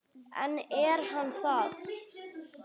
En er hann það?